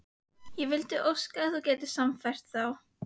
Ég vildi óska að þú gætir sannfært þá